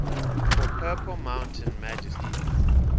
for purple mountain majesties